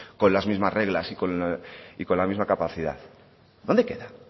con las mismas reglas y con la misma capacidad dónde queda